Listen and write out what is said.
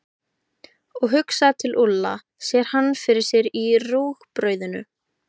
Og hugsar til Úlla, sér hann fyrir sér í rúgbrauðinu.